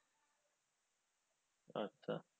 আচ্ছা।